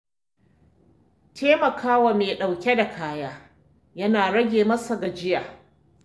Taimaka wa mai ɗauke da kaya yana rage masa gajiya.